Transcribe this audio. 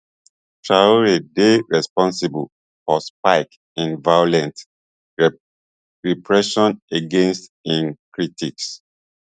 traor dey responsible for spike in violent repression against im critics